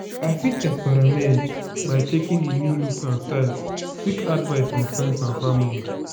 i fit experiment am by checkng di new looks and styles seek advice from friends and family.